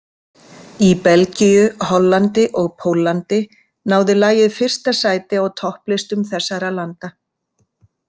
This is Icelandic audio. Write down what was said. Í Belgíu, Hollandi og Póllandi náði lagið fyrsta sæti á topplistum þessarra landa.